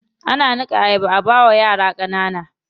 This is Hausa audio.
Ana niƙa ayaba a bawa yara ƙanana.